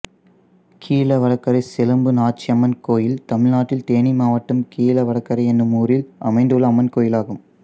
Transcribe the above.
கீழவடகரை செலும்பு நாச்சியம்மன் கோயில் தமிழ்நாட்டில் தேனி மாவட்டம் கீழவடகரை என்னும் ஊரில் அமைந்துள்ள அம்மன் கோயிலாகும்